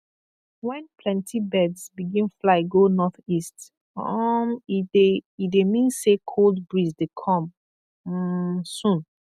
when plenty birds begin fly go northeast um e dey e dey mean say cold breeze dey come um soon